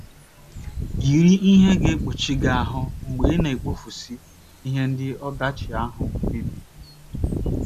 Yiri ihe ga - ekpuchi gị ahụ́ mgbe ị na - ekpofusi ihe ndị ọdachi ahụ mebiri.